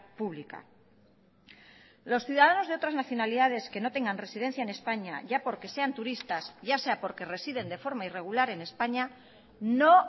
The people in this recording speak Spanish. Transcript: pública los ciudadanos de otras nacionalidades que no tengan residencia en españa ya porque sean turistas ya sea porque residen de forma irregular en españa no